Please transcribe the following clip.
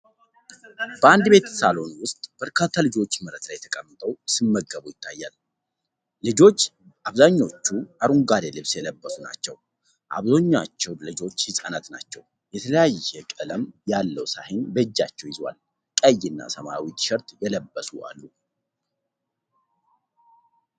በአንድ ቤት ሳሎን ውስጥ በርካታ ልጆች መሬት ላይ ተቀምጠው ሲመገቡ ይታያል፤ ልጆቹ አብዛሀኛዎቹ አረንጓዴ ልብስ የለበሱ ናቸው ፤ አብዛሀኛዎቹ ልጆች ህጻናት ናቸው። የተለያየ ቀለም ያለው ሳህን በእጃቸው ይዘዋል፤ ቀይ እና ሰማያዊ ቲሸርት የለበሱ አሉ።